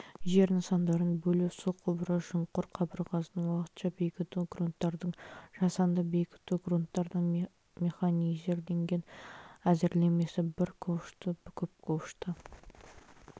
жер нысандарын бөлу су құбыры шұңқыр қабырғасын уақытша бекіту грунттардың жасанды бекітуі грунттың механизирленген әзірлемесі бір ковшты көп ковшты